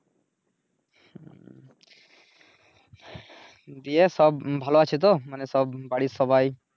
ওইদিকে সব ভালো আছে তো মানি সব বাড়ির সবাই?